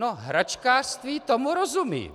No hračkářství, tomu rozumím.